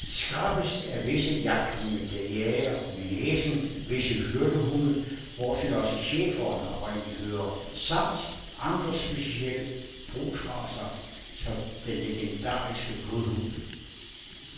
Skrappest er visse jagthunde, der jager med næsen, visse hyrdehunde, hvortil også schæferen oprindelig hører, samt andre specielle brugsracer som den legendariske blodhund.